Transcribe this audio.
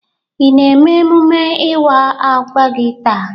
Ị na-eme emume ịwa akwa gi taa?